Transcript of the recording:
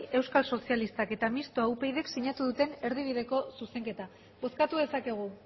euskal sozialistak eta mistoa upydk sinatu duten erdibideko zuzenketa bozkatu dezakegu